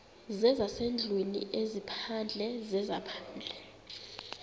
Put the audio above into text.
zezasendlwini ezaphandle zezaphandle